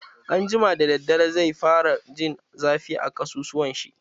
Anjima da daddare, zai fara jin zafi a ƙasussuwan shi.